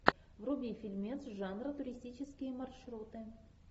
вруби фильмец жанра туристические маршруты